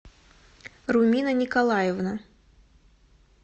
румина николаевна